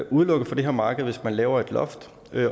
udelukket fra det her marked hvis man laver et loft